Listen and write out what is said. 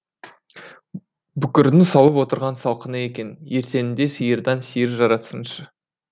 бүкірдің салып отырған салқыны екен ертеңінде сиырдан сиыр жаратсыншы